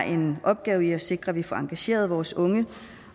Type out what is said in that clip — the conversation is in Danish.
en opgave i at sikre at vi får engageret vores unge